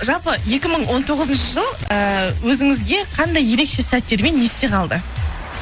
жалпы екі мың он тоғызыншы жыл ыыы өзіңізге қандай ерекше сәттермен есте қалды